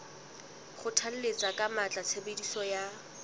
kgothalletsa ka matla tshebediso ya